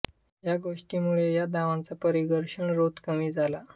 या गोष्टींमुळे या धावांचा परिघर्षण रोध कमी झाला